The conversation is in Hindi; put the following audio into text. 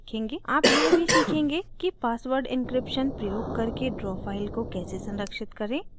आप यह भी सीखेंगे कि password encryption प्रयोग करके draw फाइल को कैसे संरक्षित करें